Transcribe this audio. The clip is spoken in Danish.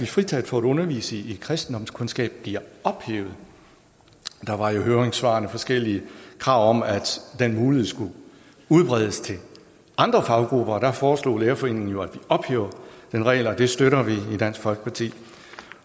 fritaget for at undervise i kristendomskundskab bliver ophævet der var i høringssvarene forskellige krav om at den mulighed skulle udbredes til andre faggrupper der foreslog danmarks lærerforening jo at ophæve den regel og det støtter vi i dansk folkeparti